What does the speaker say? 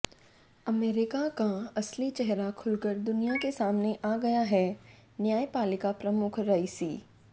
America का असली चेहरा खुलकर दुनिया के सामने आ गया हैः न्यायपालिका प्रमुख रईसी